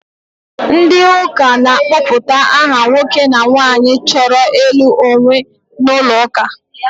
Ndị ụka na-akpọpụta aha nwoke na nwaanyị chọrọ ịlụ onwe n'ụlọ ụka.